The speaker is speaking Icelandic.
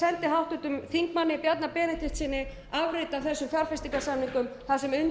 háttvirtum þingmanni bjarna benediktssyni afrit af þessu fjárfestingarsamningum þar sem